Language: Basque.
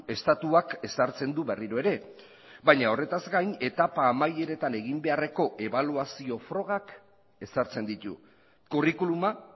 estatuak ezartzen du berriro ere baina horretaz gain etapa amaieretan egin beharreko ebaluazio frogak ezartzen ditu curriculuma